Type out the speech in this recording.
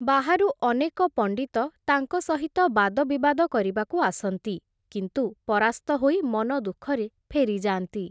ବାହାରୁ ଅନେକ ପଣ୍ଡିତ ତାଙ୍କ ସହିତ ବାଦବିବାଦ କରିବାକୁ ଆସନ୍ତି, କିନ୍ତୁ ପରାସ୍ତ ହୋଇ, ମନଦୁଃଖରେ ଫେରିଯାଆନ୍ତି ।